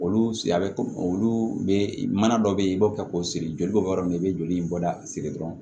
Olu si a bɛ komi olu bɛ mana dɔ bɛ yen i b'o kɛ k'o siri joli bɛ bɔ yɔrɔ min na i bɛ joli in bɔda siri dɔrɔn